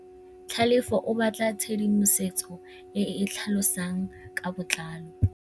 Tlhalefô o batla tshedimosetsô e e tlhalosang ka botlalô.